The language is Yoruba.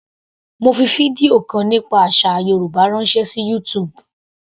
Mo fi fídíò kan nípa àsà Yorùbá ránṣẹ́ sí YouTube.